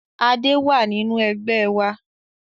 Adé wá nínú Ẹgbẹ́ wa